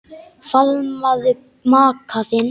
Faðmaðu maka þinn.